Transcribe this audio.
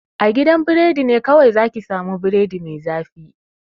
A gidan biredi ne kawai za ki sa mu biredi mai zafi